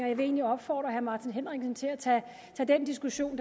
jeg vil egentlig opfordre herre martin henriksen til at tage den diskussion